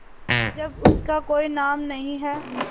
जब इसका कोई नाम नहीं है